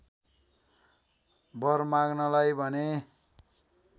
वर माँग्नलाई भने